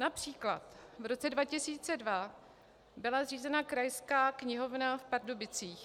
Například v roce 2002 byla zřízena Krajská knihovna v Pardubicích.